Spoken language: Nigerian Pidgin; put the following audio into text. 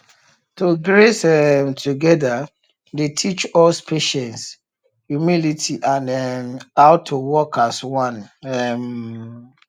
to graze um together dey teach us patience humility and um how to work as one um